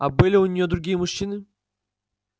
а были у неё другие мужчины